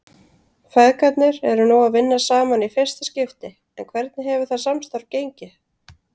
Feðgarnir eru nú að vinna saman í fyrsta skipti en hvernig hefur það samstarf gengið?